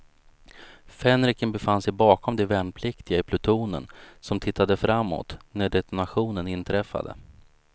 Fänriken befann sig bakom de värnpliktiga i plutonen, som tittade framåt när detonationen inträffade.